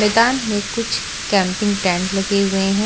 मैदान में कुछ कैंपिंग टेंट लगे हुए हैं।